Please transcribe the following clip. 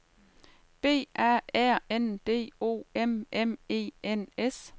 B A R N D O M M E N S